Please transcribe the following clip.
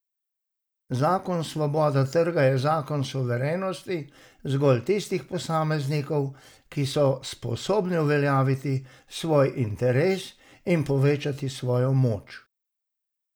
Zakon svobode trga je zakon suverenosti zgolj tistih posameznikov, ki so sposobni uveljavljati svoj interes in povečevati svojo moč.